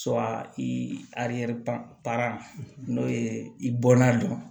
i n'o ye i bɔnna dɔn